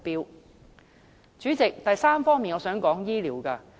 代理主席，第三，我想談談醫療。